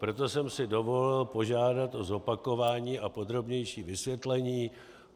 Proto jsem si dovolil požádat o zopakování a podrobnější vysvětlení.